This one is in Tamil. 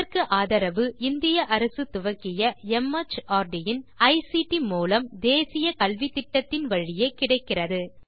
இதற்கு ஆதரவு இந்திய அரசு துவக்கிய மார்ட் இன் ஐசிடி மூலம் தேசிய கல்வித்திட்டத்தின் வழியே கிடைக்கிறது